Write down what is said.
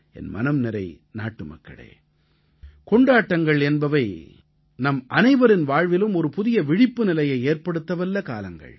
என் மனம்நிறை நாட்டுமக்களே கொண்டாட்டங்கள் என்பவை நம் அனைவரின் வாழ்விலும் ஒரு புதிய விழிப்புநிலையை ஏற்படுத்தவல்ல காலங்கள்